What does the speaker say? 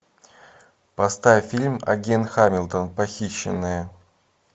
поставь фильм агент хамилтон похищенная